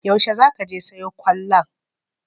Yaushe za ka je sayo kwallon?